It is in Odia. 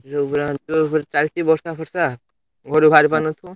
ଯୋଉ ଭଳିଆ ଯୋଉ ପୁରା ଚାଲିଛି ବର୍ଷା ଫର୍ଷା ଘରୁ ବାହାରି ପାରୁନଥିବ।